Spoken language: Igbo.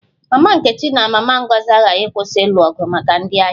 Mama nkechi na mama Ngozi agaghị akwụsị ịlụ ọgụ maka ndị ahịa